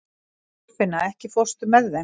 Þorfinna, ekki fórstu með þeim?